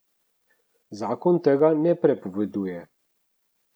Zakon tega ne prepoveduje.